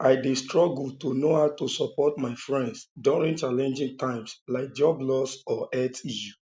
i dey struggle to know how to support my friends during challenging times like job loss or health issues